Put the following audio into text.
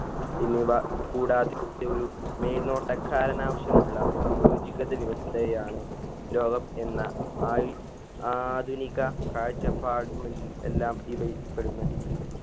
പിന്നീടാ കൂടാതെയൊരു മേൽനോട്ടക്കാരനാവിശ്യമുള്ള സംയോജികത വ്യവസ്ഥയാണ് ലോകം എന്ന ആയി ആധുനിക കാഴ്ചപ്പാട് ഉമൽ എല്ലാം ഇവയിൽ പെടുന്നെ